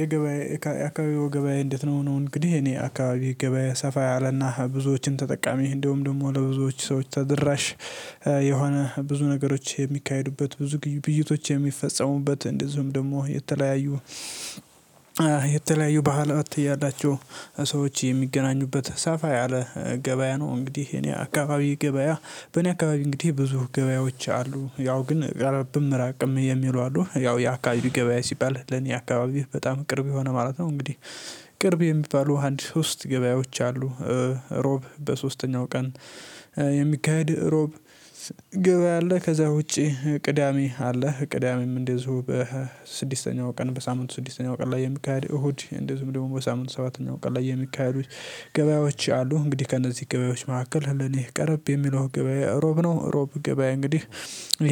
የገበያ የአካባቢው ገበያ እንዴት ነው? ነው እንግዲህ እኔ አካባቢ ገበያ ሰፋ ያለና ብዙዎችን ተጠቃሚ እንደሁም ደግሞ ለብዙዎች ሰዎች ተደራሽ የሆነ ብዙ ነገሮች የሚካሄዱበት ብዙ ግብይቶች የሚፈጸሙበት እንደዚሁም ደግሞ የተለያዩ ባህላት ያላቸው ሰዎች የሚገናኙበት ሰፋ ያለ ገበያ ነው እንግዲህ እኔ አካባቢ ገበያ በኔ አካባቢ እንግዲህ ብዙ ገበያዎች አሉ ያው ግን ቀረብም ራቅም የሚሉ አሉ ያው የአካባቢው ገበያ ሲባል ለኔ አካባቢ በጣም ቅርብ የሆነ ማለት ነው። እንግዲህ ቅርብ የሚባሉ አንድ ሶስት ገበያዎች አሉ። ሮብ በሶስተኛው ቀን የሚካሄድ ሮብ ገበያ አለ ከዛ ውጪ ቅዳሜ አለ ቅዳሜም እንደዚሁ በስድስተኛው ቀን በሳምንቱ ስድስተኛው ቀን ላይ የሚካሄድ እሁድ እንደዚሁም ደግሞ በሳምንቱ ሰባተኛው ቀን ላይ የሚካሄዱ ገበያዎች አሉ እንግዲህ ከእነዚህ ገበያዎች መካከል ለኔ ቀረብ የሚለው ገበያዬ እሮብ ነው እሮብ ገበያ እንግዲህ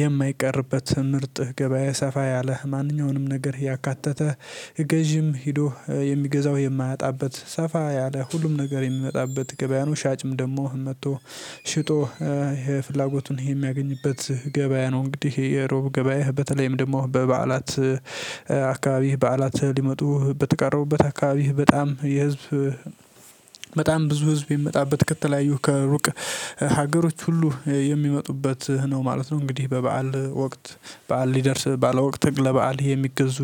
የማይቀርበት ምርጥ ገበያ ሰፋ ያለህ ማንኛውንም ነገር ያካተተ ገዢም ሄዶ የሚገዛው የማያጣበት ሰፋ ያለ ሁሉም ነገር የሚመጣበት ገበያ ነው ሻጭም ደግሞ መጥቶ ሽጦ ፍላጎቱን ይሄ የሚያገኝበት ገበያ ነው እንግዲህ እሮብ ገበያ በተለይም ደግሞ በበዓላት አካባቢህ በዓላት ሊመጡ በተቃረቡበት አካባቢህ በጣም የህዝብ በጣም ብዙ ህዝብ የሚመጣበት ከተለያዩ ከሩቅ ሀገሮች ሁሉ የሚመጡበት ነው ማለት ነው እንግዲህ በበዓል ወቅት በዓል ሊደርስ ባለወቅት ለበአል የሚገዙ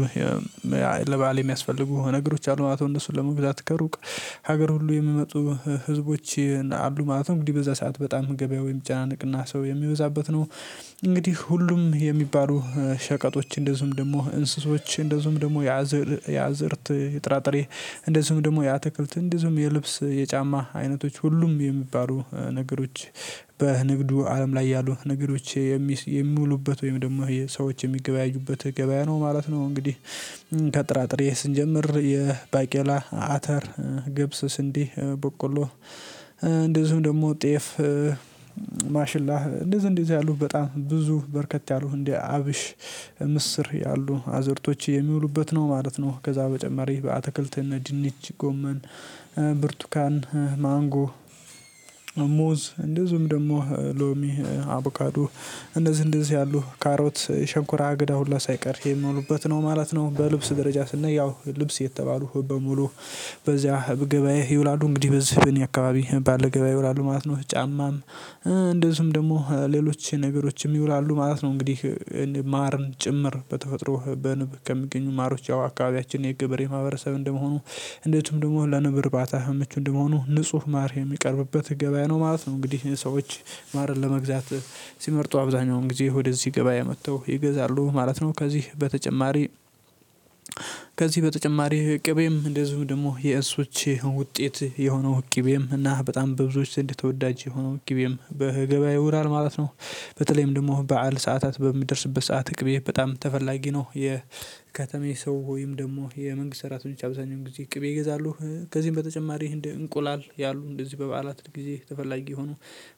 ለበአል የሚያስፈልጉ ነገሮች አሉ ማለት ነው እነሱን ለመግዛት ከሩቅ ሀገር ሁሉ የሚመጡ ህዝቦች አሉ ማለት ነው እንግዲህ በዛ ሰዓት በጣም ገበያው የሚጨናነቅና ሰው የሚበዛበት ነው፣ እንግዲህ ሁሉም የሚባሉ ሸቀጦች እንደዚሁም ደግሞ እንስሶች እንደዚሁም ደግሞ ያዝር ያዝርት የጥራጥሬ እንደዚሁም ደግሞ ያትክልት እንደዚሁም የልብስ፣ የጫማ አይነቶች ሁሉም የሚባሉ ነገሮች በንግዱ አለም ላይ ያሉ ነገሮች የሚውሉበት ወይም ደግሞ የሰዎች የሚገበያዩበት ገበያ ነው ማለት ነው እንግዲህ ከጥራጥሬ ስንጀምር የባቄላ፣ አተር፣ ግብስ፣ ስንዴ፣ በቆሎ እንደዚሁም ደግሞ ጤፍ ማሽላህ እንደዚሁ እንደዚሁ ያሉት በጣም ብዙ በርከት ያሉት እንደ አብሽ፣ ምስር ያሉ አዝርቶች የሚውሉበት ነው ማለት ነው ከዛ በጨማሪ በአትክልት እነ ድንች፣ ጎመን፣ ብርቱካን፣ ማንጎ፣ ሙዝ እንደዚሁም ደግሞ ሎሚ፣ አቮካዱ እንደዚህ እንደዚህ ያሉህ ካሮት ሸንኮራ አገዳ ሁላ ሳይቀር የሚውሉበት ነው ማለት ነው። በልብስ ደረጃ ስናይ ያው ልብስ የተባሉ በሙሉ በዚያ ገበያ ይውላሉ እንግዲህ በዚህ በእኔ አካባቢ ባለ ገበያ ይውላሉ ማለት ነው ጫማም፣ እንደዚሁም ደግሞ ሌሎች ነገሮችም ይውላሉ ማለት ነው እንግዲህ ማርን ጭምር በተፈጥሮ በንብ ከሚገኙ ማሮች ያው አካባቢያችን የግብሬ የማህበረሰብ እንደመሆኑ እንደውም ደግሞ ለንብ ርባታ ምቹ እንደመሆኑ ንጹህ ማር የሚቀርብበት ገበያ ነው ማለት ነው፤ እንግዲህ ሰዎች ማርን ለመግዛት ሲመርጡ አብዛኛውን ጊዜ ወደ ገበያ መተው ይገዛሉ ማለት ነው። ከዚህ በተጨማሪ በተጨማሪ ቅቤም እንደዚሁ ደግሞ የእንስሶች ውጤት የሆነው ቅቤም እና በጣም በብዙዎች ዘንድ ተወዳጅ የሆነው ቅቤም በገበያ ይውላል ማለት ነው በተለይም ደግሞ በዓል ሰዓታት በሚደርስበት ሰዓት ቅቤ በጣም ተፈላጊ ነው። የከተማ የሰው ወይም ደግሞ የመንግስት ሰራተኞች አብዛኛው ጊዜ ቅቤ ይገዛሉ። ከዚህም በተጨማሪ እንደ እንቁላል ያሉ እንደዚህ በበዓላት ጊዜ ተፈላጊ ሆኖ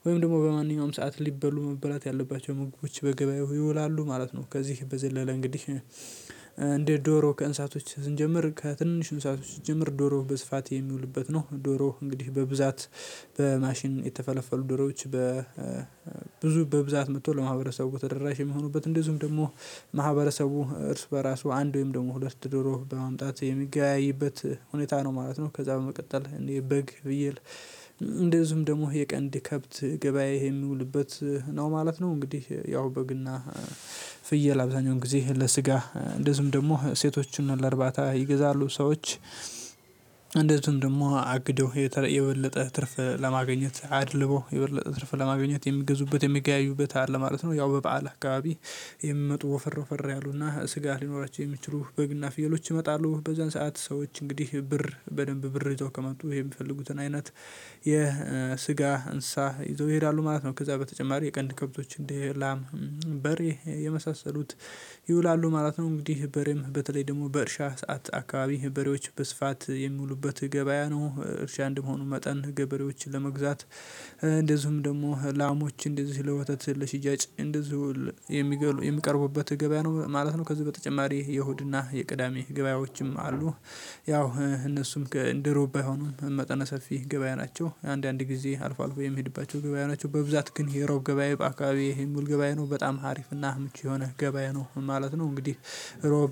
ወይም ደግሞ በማንኛውም ሰዓት ሊበሉ መብላት ያለባቸው ምግቦች በገበያው ይውላሉ ማለት ነው። ከዚህ በዘለለ እንግዲህ እንደ ዶሮ ከእንሳቶች ስንጀምር ከትንሽ እንሳቶች ስንጀምር ዶሮ በስፋት የሚውልበት ነው ዶሮ እንግዲህ በብዛት በማሽን የተፈለፈሉ ድሮች በ ብዙ በብዛት መቶ ወደ ማህበረሰቡ ተደራሽ የሚሆኑበት እንደዚሁም ደግሞ ማህበረሰቡ እርስ በራሱ አንድ ወይም ደግሞ ሁለት ድሮ በማምጣት የሚገበያይበት ሁኔታ ነው ማለት ነው ከዛ በመቀጠል እንደ በግ ፍየል እንደዚሁም ደግሞ የቀንድ ከብት ገበያ የሚውልበት ነው ማለት ነው እንግዲህ ያው በግና ፍየል አብዛኛውን ጊዜ ለስጋ እንደዚሁም ደግሞ ሴቶችን ለእርባታ ይገዛሉ ሰዎች እንደዚሁም ደግሞ አግደው የተለየ የበለጠ ትርፍ ለማግኘት አድልቦ የበለጠ ትርፍ ለማግኘት የሚገዙበት የሚገያዩበት አለ ማለት ነው ያው በበዓል አካባቢ የሚመጡ ወፈር ወፈር ያሉና ስጋ ሊኖራቸው የሚችሉ በግና ፍየሎች ይመጣሉ፤ በዛን ሰዓት ሰዎች እንግዲህ ብር በደንብ ብር ይዘው ከመጡ የሚፈልጉትን አይነት የስጋ እንስሳ ይዘው ይሄዳሉ ማለት ነው። ከዛ በተጨማሪ የቀንድ ከብቶች እንደ ላም፣ በሬ የመሳሰሉት ይውላሉ ማለት ነው። እንግዲህ በሬም በተለይ ደግሞ በእርሻ ሰዓት አካባቢ በሬዎች በስፋት የሚሉበት ገበያ ነው እርሻ አንደመሆኑ መጠን ገበሬዎች ለመግዛት እንደዚሁም ደግሞ ላሞች እንደዚህ ለወተት ለሽያጭ እንደዚሁ የሚገሉ የሚቀርቡበት ገበያ ነው ማለት ነው። ከዚህ በተጨማሪ የእሁድና የቅዳሜ ገበያዎችም አሉ። ያው እነሱም እንደሮብ ባይሆኑም መጠነ ሰፊ ገበያ ናቸው አንዳንድ ጊዜ አልፎ አልፎ የምሄድባቸው ገበያ ናቸው፣ በብዛት ግን የሮብ ገበያ በአካባቢው ይሄን ሙሉ ገበያዬ ነው በጣም አሪፍና ምቹ የሆነ ገበያ ነው ማለት ነው። እንግዲህ ሮብ